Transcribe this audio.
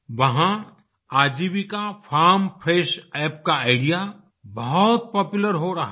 वहाँ Aajeevika farm fresh app का idea बहुत पॉपुलर हो रहा है